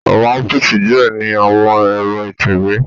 Awọn ọfiisi diẹ ni awọn ẹ̀ro itẹwe